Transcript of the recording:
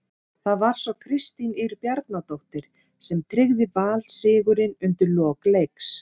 Það var svo Kristín Ýr Bjarnadóttir sem tryggði Val sigurinn undir lok leiks.